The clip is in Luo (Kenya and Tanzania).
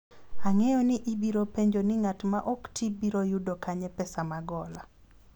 ang'eyo ni ibiro penjo ni ng'at ma ok tii biro yudo kanye pesa mag hola